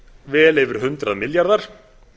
vel yfir hundrað milljarðar